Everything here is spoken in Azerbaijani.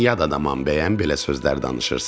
Mən yad adamam bəyəm belə sözlər danışırsan?